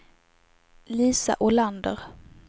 Lisa Olander